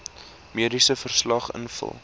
mediese verslag invul